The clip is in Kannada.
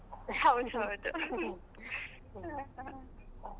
ಹೌದು ಹೌದು ,